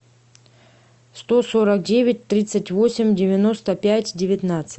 сто сорок девять тридцать восемь девяносто пять девятнадцать